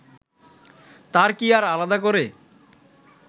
তার কি আর আলাদা করে